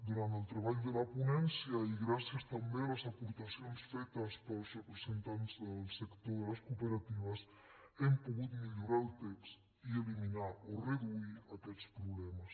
durant el treball de la ponència i gràcies també a les aportacions fetes pels representants del sector de les cooperatives hem pogut millorar el text i eliminar o reduir aquests problemes